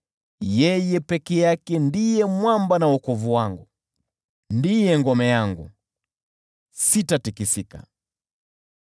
Yeye peke yake ndiye mwamba wangu na wokovu wangu; ndiye ngome yangu, sitatikisika.